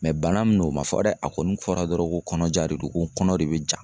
bana min no o ma fɔ dɛ a kɔni fɔra dɔrɔn ko kɔnɔja de don ko n kɔnɔ de bɛ ja.